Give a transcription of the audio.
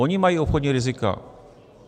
Ony mají obchodní rizika.